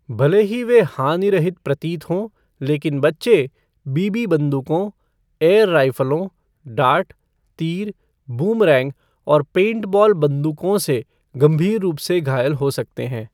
भले ही वे हानिरहित प्रतीत हों, लेकिन बच्चे बीबी बंदूकों, एयर राइफ़लों, डार्ट, तीर, बूमरैंग और पेंटबॉल बंदूकों से गंभीर रूप से घायल हो सकते हैं।